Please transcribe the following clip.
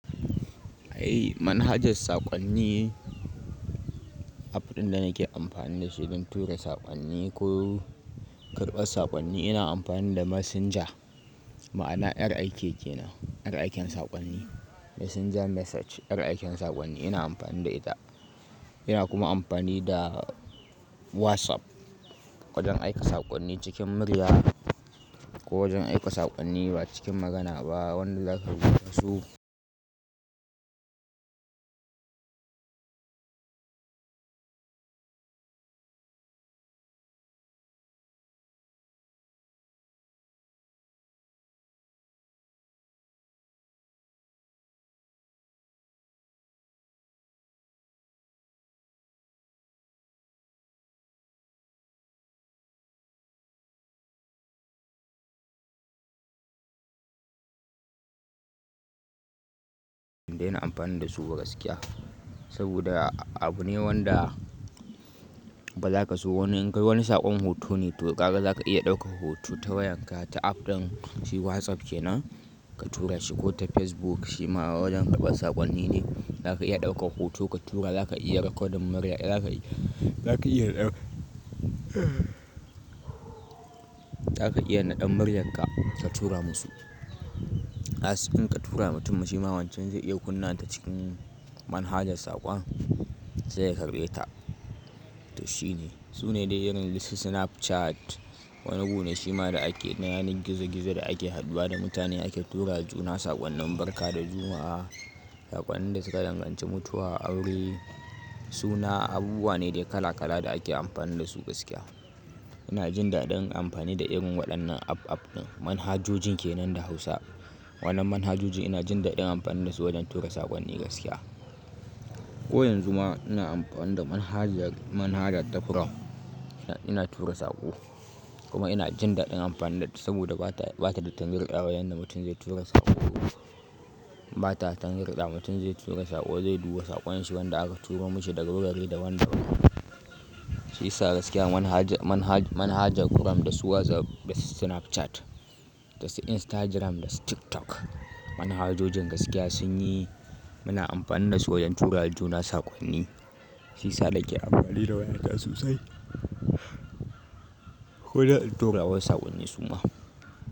Eh manhajar saƙonni, app ɗin da nake amfani da shi don tura saƙonni ko karɓar saƙonni ina amfani da Messenger ma'ana RIK kenan, RIK ɗin saƙonni Messenger Message RIK ɗin saƙonni ina amfani da ita. Ina kuma amfani da WhatsApp wajen aika saƙonni cikin murya ko wajen aika saƙonni ba cikin magana ba wanda zaka rubuta su. Ina amfani da su gaskiya saboda abu ne wanda baza ka so wani in kai wani saƙon hoto ne to ƙara zaka iya ɗauka hoto ta wayanka ta app ɗin shi WhatsApp kenan ka tura shi ko ta Facebook shima wajen karɓar saƙonni ne zaka iya ɗaukar hoto ka tura zaka iya rekodin murya zaka iya, zaka iya Zaka iya naɗan muryanka ka tura musu. As in ka tura masa shima wancan zai iya kunna ta cikin manhajar saƙon sai ya karɓe ka to shine. Sune dai irin su Snapchat wani gu ne shima da ake yana gizo gizo da ake haɗuwa da mutane ake turawa juna saƙonnin barka da juma'a, saƙonnin da suka danganci mutuwa, aure suna abubuwa ne dai kala kala da ake amfani da su gaskiya. Ina jin daɗin amfani da irin waɗannan app app din manhajojin kenan da Hausa. Waɗannan manhajoji ina jin daɗin amfani da su wajen tura saƙonni gaskiya. Ko yanzu ma ina amfani da manhajar manhaja ta chrome ina tura saƙo kuma ina jin daɗin amfani da ita saboda bata, bata da tangarɗawa yanda mutum zai tura saƙo. Bata tangarɗa mutum zai tura saƙo zai duba saƙon shi wanda aka tura mishi daga wurare daban daban. Shiyasa gaskiya manhaja manhaja manhaja chrome da su WhatsApp da Snapchat da su Instagram da su TikTok. Manhajojin gaskiya sun yi muna amfani da su wajen turawa juna saƙonni. Shiyasa na ke amfani da waya ta sosai. Ko da tura wasu saƙonni suma.